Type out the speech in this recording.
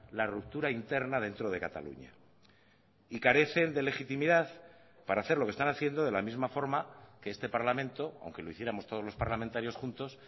la ruptura interna dentro de cataluña y carecen de legitimidad para hacer lo que están haciendo de la misma forma que este parlamento aunque lo hiciéramos todos los parlamentarios juntos